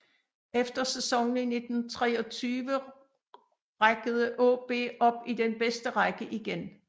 Efter sæsonen i 1923 rækkede AaB op i den bedste række igen